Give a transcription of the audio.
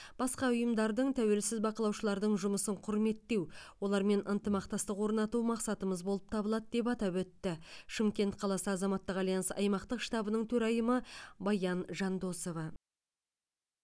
басқа ұйымдардың тәуелсіз бақылаушылардың жұмысын құрметтеу олармен ынтымақтастық орнату мақсатымыз болып табылады деп атап өтті шымкент қаласы азаматтық альянс аймақтық штабының төрайымы баян жандосова